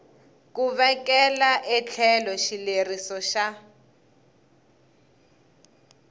ku vekela etlhelo xileriso xa